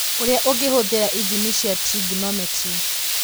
ũrĩa ũngĩhũthĩra ithimi cia trigonometry